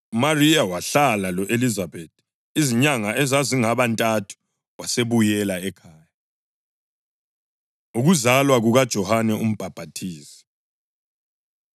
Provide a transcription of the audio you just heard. UMariya wahlala lo-Elizabethi izinyanga ezazingaba ntathu wasebuyela ekhaya. Ukuzalwa KukaJohane UMbhaphathizi